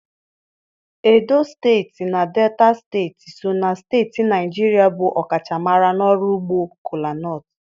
Edo steeti na Delta steeti so na steeti Naịjirịa bụ ọkachamara n'ọrụ ugbo kola-nut.